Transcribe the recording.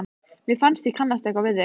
Mér finnst ég kannast eitthvað við þig?